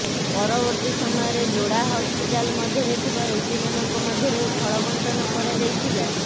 ପରବର୍ତ୍ତୀ ସମୟରେ ଯୋଡ଼ା ହସ୍ପିଟାଲ ମଧ୍ୟରେ ଥିବା ରୋଗୀମାନଙ୍କ ମଧ୍ୟରେ ଫଳ ବଣ୍ଟନ କରାଯାଇଥିଲା